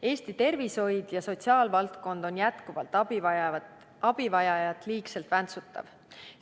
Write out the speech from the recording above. Eesti tervishoid ja sotsiaalvaldkond on jätkuvalt abivajajat liigselt väntsutav.